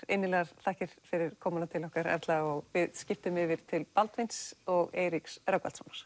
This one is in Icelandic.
innilegar þakkir fyrir komuna til okkar Erla og við skiptum yfir til Baldvins og Eiríks Rögnvaldssonar